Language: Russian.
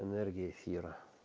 энергия свера